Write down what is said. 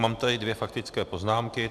Mám tady dvě faktické poznámky.